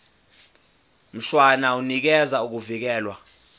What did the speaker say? mshwana unikeza ukuvikelwa